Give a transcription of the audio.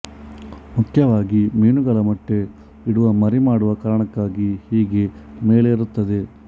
ಮುಖ್ಯವಾಗಿ ಮೀನುಗಳು ಮೊಟ್ಟೆ ಇಡುವಮರಿ ಮಾಡುವ ಕಾರಣಕ್ಕಾಗಿ ಹೀಗೆ ಮೇಲೇರುತ್ತದೆ